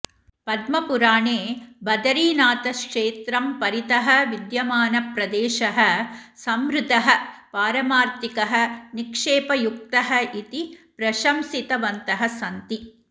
पद्मपुराणे बदरीनाथक्षेत्रं परितः विद्यमानः प्रदेशः सम्रुद्धः पारमार्थिकः निक्षेपयुक्तः इति प्रशंसितवन्तः सन्ति